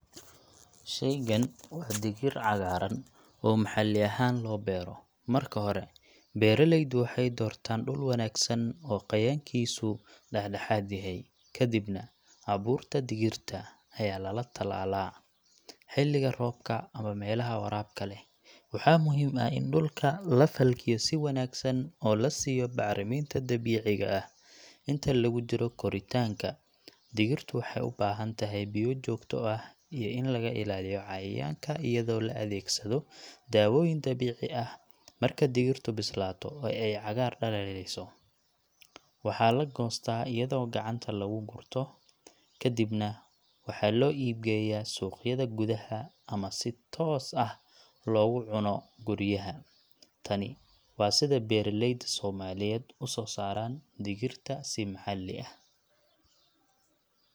Shaygan waa digir cagaaran oo maxalli ahaan loo beero. Marka hore, beeraleydu waxay doortaan dhul wanaagsan oo qoyaankiisu dhexdhexaad yahay. Kadibna, abuurka digirta ayaa la tallaalaa xiliga roobka ama meelaha waraabka leh. Waxaa muhiim ah in dhulka la falkiyo si wanaagsan oo la siiyo bacriminta dabiiciga ah. Inta lagu jiro koritaanka, digirtu waxay u baahantahay biyo joogto ah iyo in laga ilaaliyo cayayaanka iyadoo la adeegsado dawooyin dabiici ah. Marka digirtu bislaato oo ay cagaar dhalaalayso, waxaa la goostaa iyadoo gacanta lagu gurto. Kadibna waxaa loo iibgeeyaa suuqyada gudaha ama si toos ah loogu cuno guryaha. Tani waa sida beeraleyda Soomaaliyeed u soo saaraan digirta si maxalli ah.